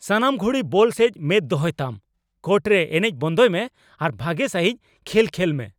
ᱥᱟᱱᱟᱢ ᱜᱷᱩᱲᱤ ᱵᱚᱞ ᱥᱮᱡ ᱢᱮᱫ ᱫᱚᱦᱚᱭᱛᱟᱢ ! ᱠᱳᱨᱴ ᱨᱮ ᱮᱱᱮᱡ ᱵᱚᱱᱫᱚᱭ ᱢᱮ ᱟᱨ ᱵᱷᱟᱜᱮ ᱥᱟᱹᱦᱤᱡ ᱠᱷᱮᱞ ᱠᱷᱮᱞᱢᱮ ᱾